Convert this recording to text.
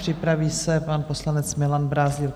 Připraví se pan poslanec Milan Brázdil.